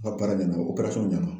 Ka baara ɲɛdɔn ɲɛna